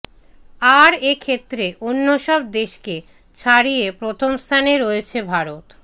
আর এ ক্ষেত্রে অন্যসব দেশকে ছাড়িয়ে প্রথমস্থানে রয়েছে ভারত